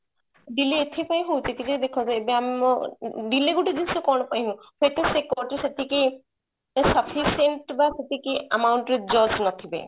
delay ଏଥି ପାଇଁ ହଉଛି ଟିକେ ଦେଖ ଏବେ ଆମ delay ଗୋଟେ ଜିନିଷ କଣ ପାଇଁ ହଉଛି ସେଟା ଯୋଉ ସେତିକି sufficient ବା ସେତିକି amount ରେ judge ନଥିବେ